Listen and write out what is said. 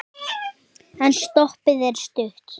En stoppið er stutt.